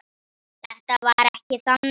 Þetta var ekki þannig.